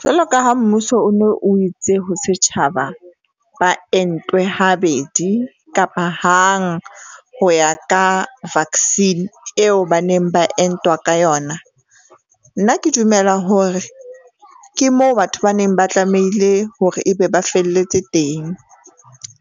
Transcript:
Jwalo ka ha mmuso o no, o itse ho setjhaba ba entwe ha bedi kapa hang ho ya ka vaccine eo ba neng ba entwa ka yona. Nna ke dumela hore ke moo batho ba neng ba tlamehile hore e be ba felletse teng.